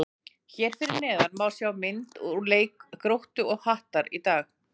Hér fyrir neðan má sjá myndir úr leik Gróttu og Hattar í dag.